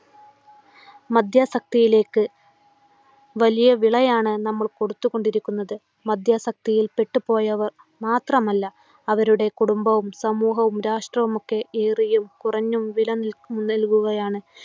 മദ്യാസക്തിയിലേക്ക് വലിയ വിളയാണ് നമ്മൾ കൊടുത്തുകൊണ്ടിരിക്കുന്നത്. മദ്യാസക്‌തിയിൽപ്പെട്ടുപോയവർ മാത്രമല്ല അവരുടെ കുടുംബവും, സമൂഹവും, രാഷ്ട്രവുമൊക്കെ ഏറിയും കുറഞ്ഞും വില നൽകുകയാണ്.